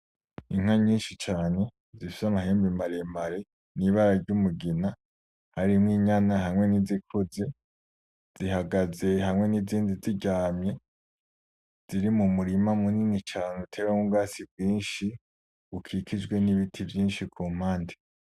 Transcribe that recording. Inka nyinshi cane zifise amahembe maremare n'ibara ry'umugina harimo inyama harimo nizikuze zihagaze hamwe n'izindi ziryamye ziri mumurima munini cane utewemwo ubwatsi bwinshi bukikijwe n'ibiti vyinshi kumpande.